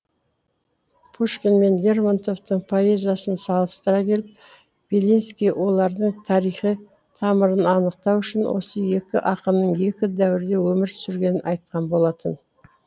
пушкин мен лермонтовтың поэзиясын салыстыра келіп белинский олардың тарихи тамырын анықтау үшін осы екі ақынның екі дәуірде өмір сүргенін айтқан болатын